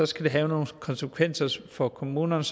skal det have nogle konsekvenser for kommunerne